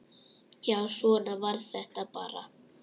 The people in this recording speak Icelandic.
Já, svona var þetta bara.